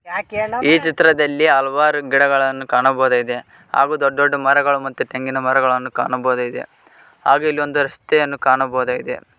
ಈ ಚಿತ್ರದಲ್ಲಿ ಹಲವಾರು ಗಿಡಗಳನ್ನು ಕಾಣಬಹುದಾಗಿದೆ ಹಾಗೂ ದೊಡ್ಡ ದೊಡ್ಡ ಮರಗಳು ಮತ್ತು ತೆಂಗಿನ ಮರಗಳನ್ನು ಕಾಣಬಹುದಾಗಿದೆ ಹಾಗೆ ಇಲ್ಲಿ ಒಂದು ರಸ್ತೆಯನ್ನು ಕಾಣಬಹುದಾಗಿದೆ.